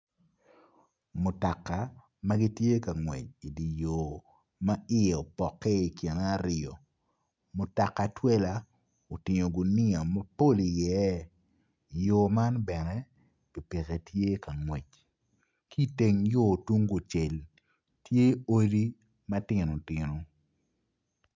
Mutoka ma gitye ka ngwec idye yor ma iye opoke kine aryo mutoka twela otingo guniya mapol i iye yor man bene pikipiki tye ka ngwec ki teng yor tung kucel tye odi matino tino